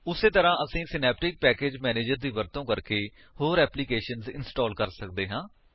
ਉਸੀ ਤਰ੍ਹਾਂ ਅਸੀ ਸਿਨੈਪਟਿਕ ਪੈਕੇਜ ਮੈਨੇਜਰ ਦੀ ਵਰਤੋ ਕਰਕੇ ਹੋਰ ਐਪਲੀਕੇਸ਼ਨਜ਼ ਇੰਸਟਾਲ ਕਰ ਸਕਦੇ ਹਾਂ